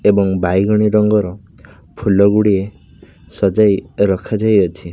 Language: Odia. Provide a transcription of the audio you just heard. ଏବଂ ବାଇଗଣୀ ରଙ୍ଗର ଫୁଲ ଗୁଡିଏ ସଜେଇ ରକ୍ଷା ଯାଇଅଛି।